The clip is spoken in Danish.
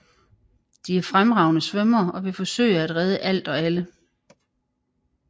De er fremragende svømmere og vil forsøge at redde alt og alle